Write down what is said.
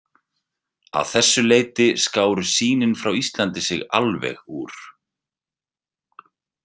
Að þessu leyti skáru sýnin frá Íslandi sig alveg úr.